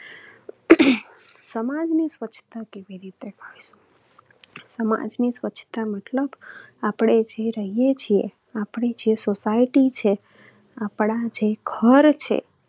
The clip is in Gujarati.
સમાજની સ્વચ્છતા સમાજની સ્વચ્છતા મતલબ આપણે જે રહીએ છીએ, આપણી જે society છે, આપણા જે ઘર છે.